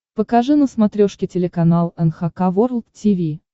покажи на смотрешке телеканал эн эйч кей волд ти ви